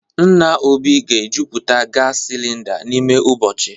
Nna Obi ga-ejuputa gas cylinder n'ime ụbọchị